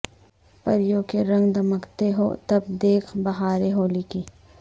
پریوں کے رنگ دمکتے ہوں تب دیکھ بہاریں ہولی کی